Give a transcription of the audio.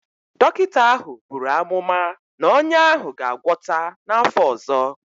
Dọkịta ahụ buru amụma na ọnya ahụ ga-agwọta n'afọ ọzọ.